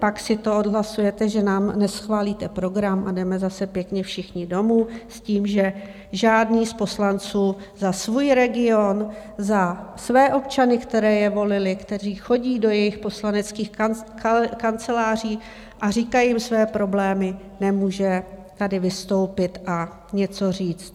Pak si to odhlasujete, že nám neschválíte program, a jdeme zase pěkně všichni domů s tím, že žádný z poslanců za svůj region, za své občany, kteří je volili, kteří chodí do jejich poslaneckých kanceláří a říkají jim své problémy, nemůže tady vystoupit a něco říct.